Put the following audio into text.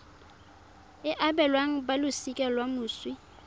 e abelwang balosika la moswi